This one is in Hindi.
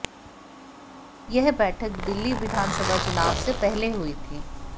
यह बैठक दिल्ली विधानसभा चुनाव से पहले हुई थी